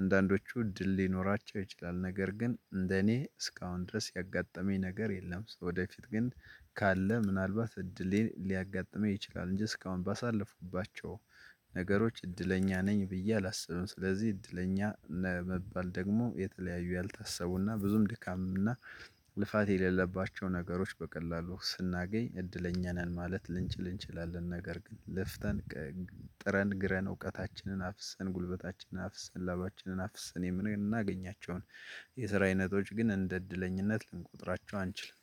አንዳንዶቹ እድል ሊኖራቸው ይችላል ነገር ግን እንደኔ እስካሁን ድረስ ያጋጠመኝ ነገር የለም። ወደፊት ግን ካለ ምናልባት እድሌን ሊያጋጥመኝ ይችላል እንጂ እስካሁን ባሳለፍኩባቸው ነገሮች እድለኛ ነኝ ብዬ አላስብም። ስለዚህ እድለኛ ለመባል ደግሞ የተለያዩ ያልታሰቡና ብዙም ድካምና ልፋት የሌለባቸው ነገሮች በቀላሉ ስናገኝ እድለኛ ነን ማለት ልንችል ልንችላለን። ነገር ግን ልፍተን ጥረን ግረን እውቀታችንን አፍሰን ጉልበታችንን አፍሰን ላባችንን አፍሰን የምንናገኛቸውን የስራ አይነቶች ግን እንደ እድለኝነት ልንቆጥራቸው አንችልም።